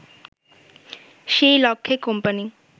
সেই লক্ষ্যে কোম্পানি